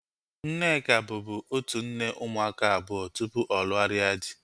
Nneka bubu otu nne ụmụaka abụọ tupu ọ lugharia dị